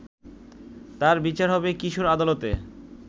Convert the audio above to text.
তার বিচার হবে কিশোর আদালতে